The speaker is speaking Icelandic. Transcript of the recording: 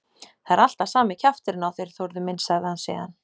Það er alltaf sami kjafturinn á þér, Þórður minn sagði hann síðan.